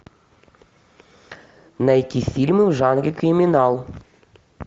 найти фильмы в жанре криминал